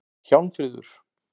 Hjálmfríður